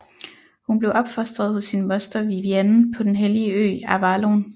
Hun blev opfostet hos sin moster Vivienne på den hellige ø Avalon